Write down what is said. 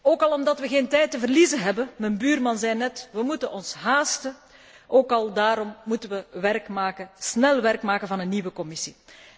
Ook al omdat we geen tijd te verliezen hebben mijn buurman zei net 'we moeten ons haasten' ook al daarom moeten we snel werk maken van een nieuwe Commissie.